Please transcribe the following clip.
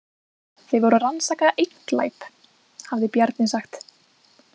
Þau voru að rannsaka einn glæp, hafði Bjarni sagt.